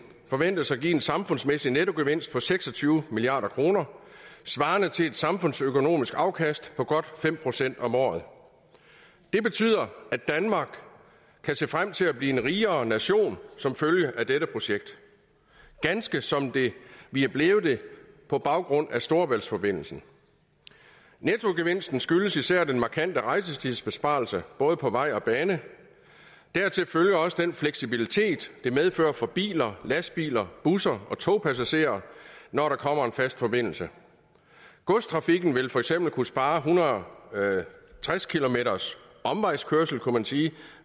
forventes at give en samfundsmæssig nettogevinst på seks og tyve milliard kroner svarende til et samfundsøkonomisk afkast på godt fem procent om året det betyder at danmark kan se frem til at blive en rigere nation som følge af dette projekt ganske som vi er blevet det på baggrund af storebæltsforbindelsen nettogevinsten skyldes især den markante rejsetidsbesparelse både på vej og bane dertil følger også den fleksibilitet det medfører for biler lastbiler busser og togpassagerer når der kommer en fast forbindelse godstrafikken vil for eksempel kunne spare en hundrede og tres km omvejskørsel kunne man sige